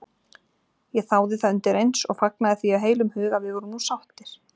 Ég þáði það undireins og fagnaði því af heilum hug að við vorum nú sáttir.